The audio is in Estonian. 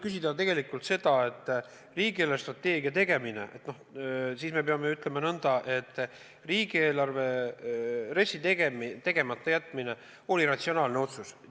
Kui aga küsida riigi eelarvestrateegia tegemise kohta, siis peab ütlema nõnda, et RES-i tegemata jätmine oli ratsionaalne otsus.